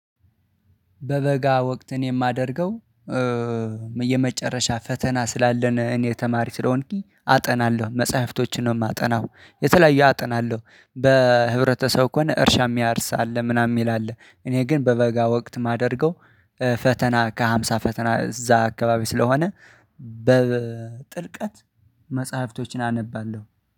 በበጋ ወቅት እኔ የማደርገው የመጨረሻ ፈተና ስላለን እኔ ተማሪ ስለሆንኩኝ አጠናለሁ መጽሐፍቶችን ነው የማጠናው የተለያየ አጠናለሁ በህብረተሰብ ከሆነ እርሻ የሚያርሳ አለ ምናምን የሚል አለ እኔ ግን በበጋ ወቅት የማደርገው ፈተና ከሃምሳ ፈተና እዛ አካባቢ ስለሆነ በጥልቀት መጽሐፍቶችን አነባለሁ